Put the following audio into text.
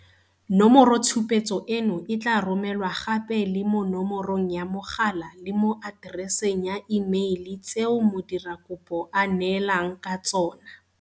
Nomoro tshupetso eno e tla romelwa gape le mo nomorong ya mogala le mo atereseng ya imeile tseo modirakopo a neelaneng ka tsona.